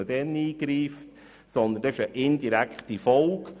Vielmehr ist das eine indirekte Folge.